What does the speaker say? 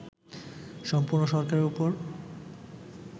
সম্পূর্ণ সরকারের উপর